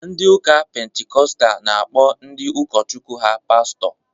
Ndị Ụka Pentikọstal na-akpọ ndị ụkọchukwu ha Pastọ